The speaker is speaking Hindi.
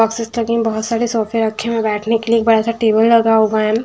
बहुत सारे सोफे रखे हुए हैं बैठने के लिए एक बड़ा सा टेबल लगा हुआ है एम--